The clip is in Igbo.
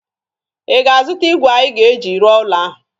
Ị ga-azụta igwe anyị ga-eji rụọ ụlo ahụ?